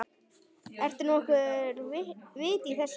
Er nokkurt vit í þessu?